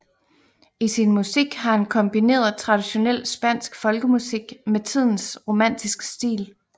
I sin musik har han kombineret traditionel spansk folkemusik med tidens romantiske stil